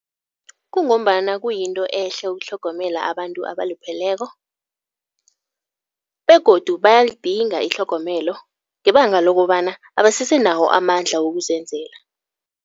Kungombana kuyinto ehle ukutlhogomela abantu abalupheleko begodu bayalidinga itlhogomelo ngebanga lokobana abasese nawo amandla wokuzenzela.